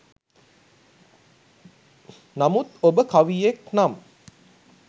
නමුත් ඔබ කවියෙක් නම්